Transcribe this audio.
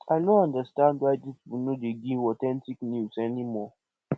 i no understand why dis people no dey give authentic news anymore